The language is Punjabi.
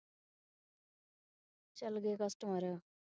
ਚਲ ਗਏ customer